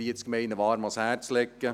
345 Gemeinden – warm ans Herz legen.